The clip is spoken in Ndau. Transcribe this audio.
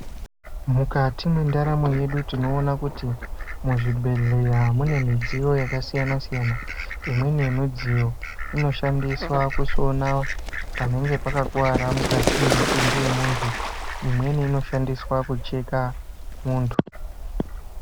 Mukatimwendaramo yedu tinoona kuti muzvibhehleya munemudziyo yakasiyana siyana imweni yemu inoshandiswa kusona panenge pakakuwara mukati mwemutumbi wemuntu imweni inoshandiswa kucheka muntu